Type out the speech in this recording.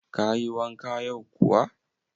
Kayi wanka yau kuwa?